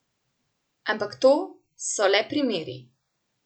Ampak to so le primeri.